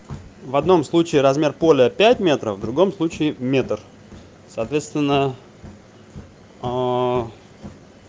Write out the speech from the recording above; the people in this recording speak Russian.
в одном случае размер поля пять метров в другом случае метр соответственно аа